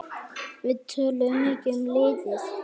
Við töluðum mikið um liðið.